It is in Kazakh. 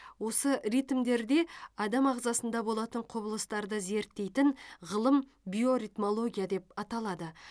осы ритмдерде адам ағзасында болатын құбылыстарды зерттейтін ғылым биоритмология деп аталады